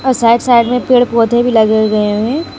और side side में पेड़ पौधे भी लगे गए हुए हैं।